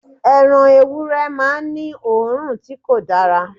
Ẹran ewúrẹ́ máa n ní òórùn ti ko dára